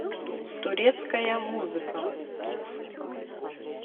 турецкая музыка